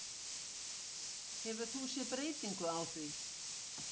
Hefur þú séð breytingu á því?